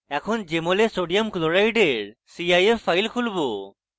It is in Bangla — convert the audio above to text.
এখন jmol we sodium chloride cif file খুলবো